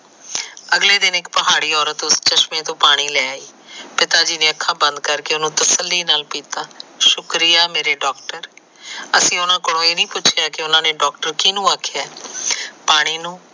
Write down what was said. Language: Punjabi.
ਅਗਲੇ ਦਿਨ ਇੱਕ ਪਹਾੜੀ ਅੋਰਤ ਉਸ ਚਸ਼ਮੇ ਤੋ ਪਾਣੀ ਲੈ ਆਈ। ਪਿਤਾ ਜੀ ਨੇ ਅੱਖਾ ਬੰਦ ਕਰਕੇ ਉਹਨੂੰ ਤਸੱਲੀ ਨਾਲ ਪੀਤਾ। ਸ਼ੁਕਰੀਆਂ ਮੇਰੇ ਡੋਕਟਰ ਅਸੀਂ ਉਹਨਾਂ ਨੂੰ ਇਹ ਨੀ ਪੁਸ਼ਿਆ ਕਿ ਡਾਕਟਰ ਕਿਸਨੂੰ ਆਖਿਆ ਆ, ਪਾਣੀ ਨੂੰ